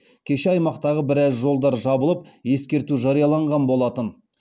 кеше аймақтағы біраз жолдар жабылып ескерту жарияланған болатын